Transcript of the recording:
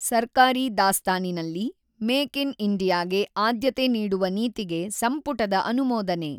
ಸರ್ಕಾರಿ ದಾಸ್ತಾನಿನಲ್ಲಿ make in India ಗೆ ಆದ್ಯತೆ ನೀಡುವ ನೀತಿಗೆ ಸಂಪುಟದ ಅನುಮೋದನೆ